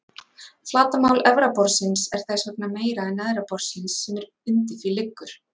Flatarmál efra borðsins er þess vegna meira en neðra borðsins sem undir því liggur.